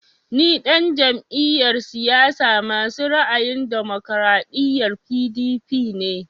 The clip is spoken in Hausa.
Ni ɗan jam'iyar siyasa masu ra'ayin damokaraɗiya (PDP) ne